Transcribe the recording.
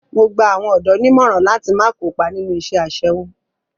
Mo gba àwọn ọ̀dọ́ nímọ̀ràn láti má kópa nínú iṣẹ́ aṣẹ́wó.